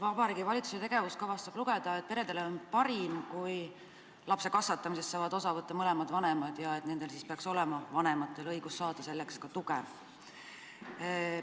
Vabariigi Valitsuse tegevuskavast saab lugeda, et peredele on parim, kui lapse kasvatamisest saavad osa võtta mõlemad vanemad, ja vanematel peaks olema õigus saada selleks ka tuge.